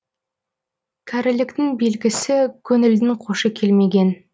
кәріліктің белгісі көңілдің қошы келмеген